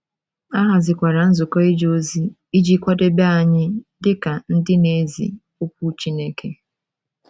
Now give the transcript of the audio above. A hazikwara Nzukọ Ije Ozi iji kwadebe anyị dị ka ndị na - ezi Okwu Chineke.